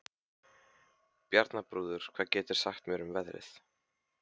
Bjarnþrúður, hvað geturðu sagt mér um veðrið?